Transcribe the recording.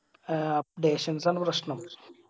ആ updations ആണ് പ്രശ്‌നം